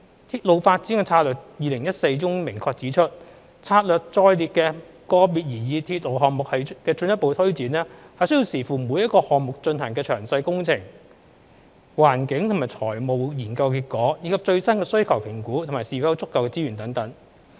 《鐵路發展策略2014》中明確指出，策略載列的個別擬議鐵路項目的進一步推展，須視乎每個項目進行的詳細工程、環境及財務研究的結果，以及最新的需求評估和是否有足夠的資源等。